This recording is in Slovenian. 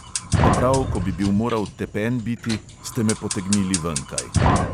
Pa prav ko bi bil moral tepen biti, ste me potegnili venkaj.